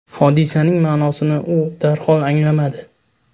Hodisaning ma’nosini u darhol anglamadi.